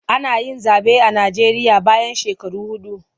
Ana yin zaɓe a Najeriya bayan shekaru huɗu.